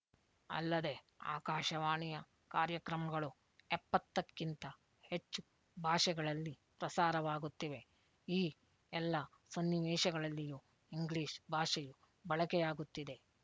ಅಲ್ಲದೆ ಆಕಾಶವಾಣಿಯ ಕಾರ್ಯಕ್ರಮಗಳು ಎಪ್ಪತ್ತಕ್ಕಿಂತ ಹೆಚ್ಚು ಭಾಷೆಗಳಲ್ಲಿ ಪ್ರಸಾರವಾಗುತ್ತಿವೆ ಈ ಎಲ್ಲ ಸನ್ನಿವೇಶಗಳಲ್ಲಿಯೂ ಇಂಗ್ಲೀಷ್ ಬಳಕೆಯಾಗುತ್ತಿದೆ